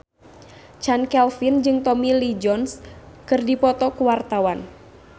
Chand Kelvin jeung Tommy Lee Jones keur dipoto ku wartawan